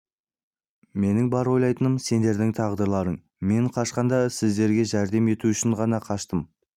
менің бар ойлайтыным сендердің тағдырларың мен қашқанда сіздерге жәрдем ету үшін ғана қаштым